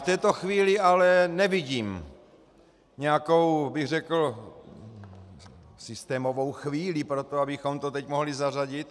V této chvíli ale nevidím nějakou, bych řekl, systémovou chvíli pro to, abychom to teď mohli zařadit.